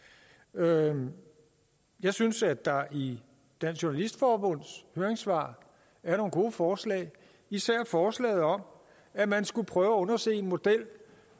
noget jeg synes at der i dansk journalistforbunds høringssvar er nogle gode forslag især forslaget om at man skulle prøve at undersøge en model